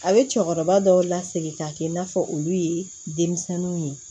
A bɛ cɛkɔrɔba dɔw lasegi k'a kɛ i n'a fɔ olu ye denmisɛnninw ye